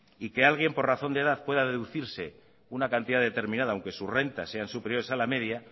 y que alguien por razón de edad pueda deducirse una cantidad determinada aunque sus rentas sean superiores a la media